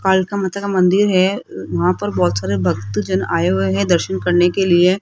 कालिका माता का मंदिर है वहां पर बहुत सारे भक्त जन आए हुए हैं दर्शन करने के लिए।